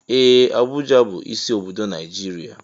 Ee! Abuja bụ isi obodo Naijiria.